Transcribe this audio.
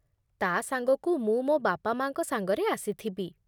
ତା'ସାଙ୍ଗକୁ ମୁଁ ମୋ ବାପା ମା'ଙ୍କ ସାଙ୍ଗରେ ଆସିଥିବି ।